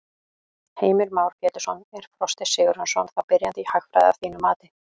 Heimir Már Pétursson: Er Frosti Sigurjónsson þá byrjandi í hagfræði að þínu mati?